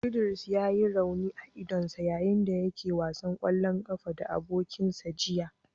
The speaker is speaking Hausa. Idris ya yi rauni a idonsa yayin da yake wasan kwallon kafa da abokansa jiya.